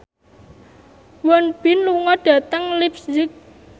Won Bin lunga dhateng leipzig